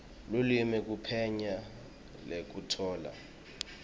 lulwimi kuphenya nekutfola